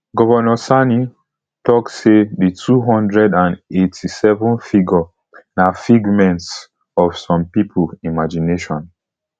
govnor sani tok say di two hundred and eighty-seven figure na figments of some pipo imagination